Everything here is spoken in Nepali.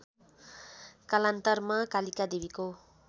कालान्तरमा कालिका देवीको